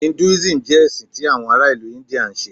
Hinduism jẹ ẹsin ti awọn ara ilu India nṣe.